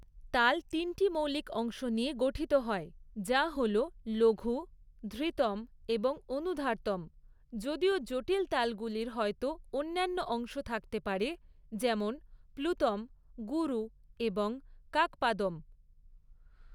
তাল তিনটি মৌলিক অংশ নিয়ে গঠিত হয়, যা হল লঘু, ধৃতম এবং অনুধার্তম যদিও জটিল তালগুলির হয়তো অন্যান্য অংশ থাকতে পারে যেমন প্লুতম, গুরু এবং কাকপাদম।